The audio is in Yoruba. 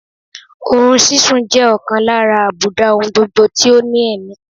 Oorun sísun jẹ́ ọ̀kan lára àbùdá oungbogbo tí ó ní ẹ̀mí